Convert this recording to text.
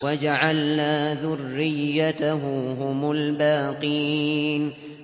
وَجَعَلْنَا ذُرِّيَّتَهُ هُمُ الْبَاقِينَ